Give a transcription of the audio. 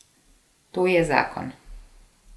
To je zakon.